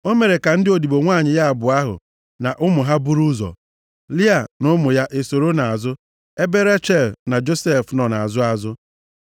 O mere ka ndị odibo nwanyị ya abụọ ahụ na ụmụ ha buru ụzọ, Lịa na ụmụ ya esoro nʼazụ, ebe Rechel na Josef nọ nʼazụ azụ.